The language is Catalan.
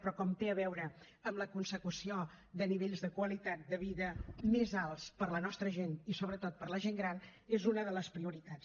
però com té a veure amb la consecució de nivells de qualitat de vida més alts per a la nostra gent i sobretot per a la gent gran és una de les prioritats